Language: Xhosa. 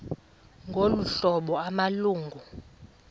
ngolu hlobo amalungu